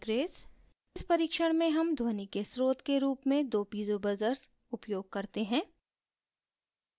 इस परिक्षण में हम ध्वनि के स्रोत के रूप में दो piezo buzzers उपयोग करते हैं